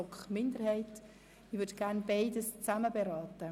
Ich möchte diese gemeinsam beraten.